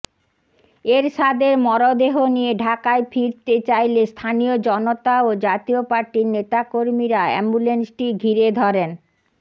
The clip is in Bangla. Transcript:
এরশাদের মরদেহ নিয়ে ঢাকায় ফিরতে চাইলে স্থানীয় জনতা ও জাতীয় পার্টির নেতাকর্মীরা অ্যাম্বুলেন্সটি ঘিরে ধরেন